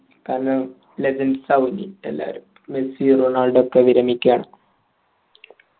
കാരണം legends ആവും ഇനി എല്ലാരും മെസ്സിയും റൊണാൾഡോയുമൊക്കെ വിരമിക്കയാണ്